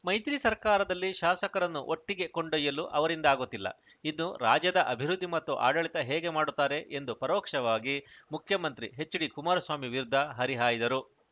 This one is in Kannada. ಮೈತ್ರಿ ಸರ್ಕಾರದಲ್ಲಿ ಶಾಸಕರನ್ನು ಒಟ್ಟಿಗೆ ಕೊಂಡೊಯ್ಯಲು ಅವರಿಂದ ಆಗುತ್ತಿಲ್ಲ ಇನ್ನು ರಾಜ್ಯದ ಅಭಿವೃದ್ಧಿ ಮತ್ತು ಆಡಳಿತ ಹೇಗೆ ಮಾಡುತ್ತಾರೆ ಎಂದು ಪರೋಕ್ಷವಾಗಿ ಮುಖ್ಯಮಂತ್ರಿ ಎಚ್‌ಡಿಕುಮಾರಸ್ವಾಮಿ ವಿರುದ್ಧ ಹರಿಹಾಯ್ದರು